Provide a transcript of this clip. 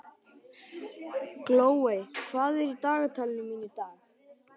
Glóey, hvað er í dagatalinu mínu í dag?